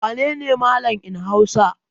Wane ne Mallam in Hausa?